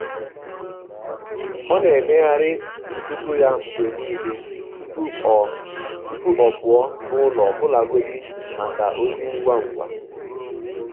ọ́ nà-éméghàrị́ ntùtù yá mgbè nìlé tupú ọ́ tupú ọ́ pụ́ọ́ n’ụ́lọ́ ọ́bụ́làgọ́dị́ màkà ózì ngwá ngwá.